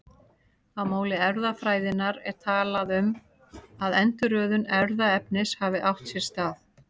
Á máli erfðafræðinnar er talað um að endurröðun erfðaefnis hafi átt sér stað.